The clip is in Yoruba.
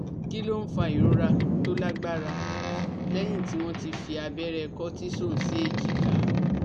Kí ló ń fa ìrora tó lágbára lẹ́yìn tí wọ́n ti fi abẹ́rẹ́ cortisone sí èjìká?